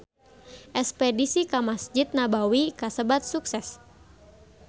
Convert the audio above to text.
Espedisi ka Mesjid Nabawi kasebat sukses